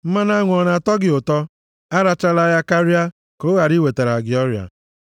Mmanụ aṅụ ọ na-atọ gị ụtọ? Arachala ya karịa, ka ọ ghara iwetara gị ọrịa.